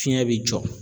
Fiɲɛ be jɔ